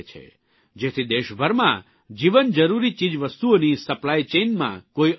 જેથી દેશભરમાં જીવનજરૂરી ચીજવસ્તુઓની સપ્લાઇચેઇનમાં કોઇ અવરોધ ન આવે